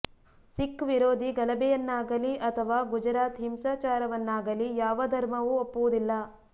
ಸಿಖ್ ವಿರೋಧಿ ಗಲಭೆಯನ್ನಾಗಲೀ ಅಥವಾ ಗುಜರಾತ್ ಹಿಂಸಾಚಾರವನ್ನಾಗಲೀ ಯಾವ ಧರ್ಮವೂ ಒಪ್ಪುವುದಿಲ್ಲ